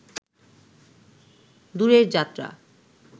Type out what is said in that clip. দূরের যাত্রা